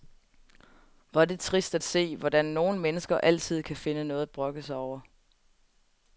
Hvor er det trist at se, hvordan nogle mennesker altid kan finde noget at brokke sig over.